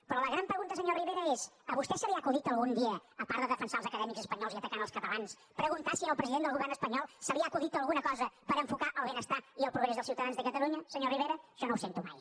però la gran pregunta senyor rivera és a vostè se li ha acudit algun dia a part de defensar els acadèmics espanyols i atacar els catalans preguntar si al president del govern espanyol se li ha acudit alguna cosa per enfocar el benestar i el progrés dels ciutadans de catalunya senyora rivera això no ho sento mai